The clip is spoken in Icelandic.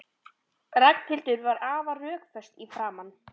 Ragnhildur var afar rökföst í framan.